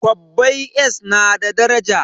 Kwabbai s na da daraja